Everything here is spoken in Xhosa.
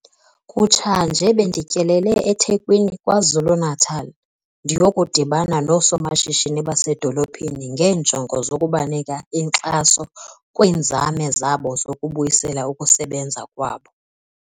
Kutshanje bendityelele eThekwini KwaZulu-Natal ndiyokudibana noosomashishini basedolophini ngeenjongo zokubanika inkxaso kwiinzame zabo zokubuyisela ukusebenza kwabo.